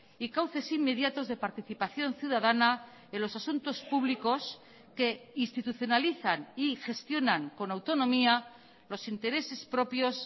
y cauces inmediatos de participación ciudadana en los asuntos públicos que institucionalizan y gestionan con autonomía los intereses propios